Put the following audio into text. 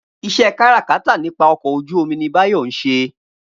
Iṣẹ́ káràkátà nípa ọkọ̀ ojú-omi ni Báyọ̀ ń ṣe